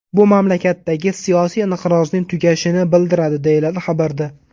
Bu mamlakatdagi siyosiy inqirozning tugashini bildiradi” deyiladi xabarda.